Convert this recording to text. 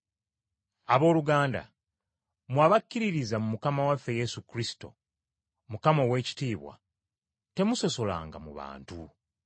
Abooluganda, mmwe abakkiririza mu Mukama waffe Yesu Kristo, Mukama ow’ekitiibwa, temusosolanga mu bantu.